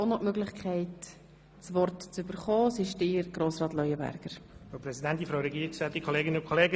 Ich spreche noch über die Planungserklärungen 4 und 7.